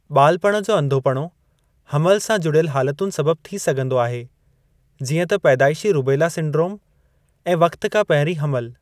ॿालपणु जो अंधोपणो हमलु सां जुड़ियलु हालतुनि सबबि थी सघिंदो आहे, जीअं त पैदाइशी रूबेला सिंड्रोम ऐं वक़्ति खां पहिरीं हमलु।